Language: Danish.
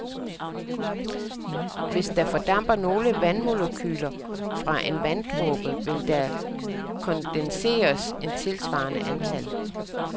Hvis der fordamper nogle vandmolekyler fra en vanddråbe, vil der kondenseres et tilsvarende antal.